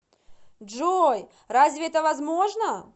джой разве это возможно